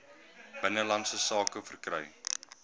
binnelandse sake verkry